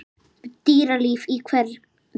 Dýralíf í hverum